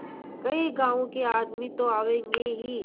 कई गाँव के आदमी तो आवेंगे ही